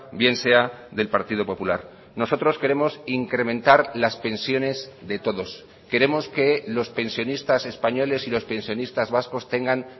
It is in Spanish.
bien sea del partido popular nosotros queremos incrementar las pensiones de todos queremos que los pensionistas españoles y los pensionistas vascos tengan